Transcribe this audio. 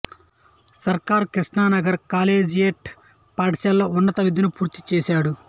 సర్కార్ కృష్ణనగర్ కాలేజియేట్ పాఠశాలలో ఉన్నత విద్యను పూర్తి చేశాడు